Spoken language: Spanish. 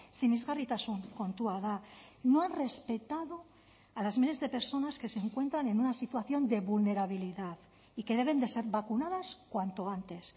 sinesgarritasun kontua da no ha respetado a las miles de personas que se encuentran en una situación de vulnerabilidad y que deben de ser vacunadas cuanto antes